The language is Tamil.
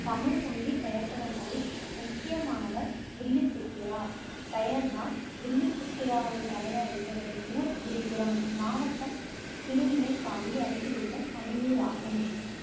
தமிழ்ஹ் மொழி பெயர்த்தவர்களில் முக்கியமானவர் வில்லிப்புத்தூரார். பெயர் தான் வில்லிப்புத்தூராரே தவிர, இவரது ஊர் விழுப்புரம் மாவட்டம் திருமுனைப்பாடி அருகிலுள்ள சனியூர் ஆகும்.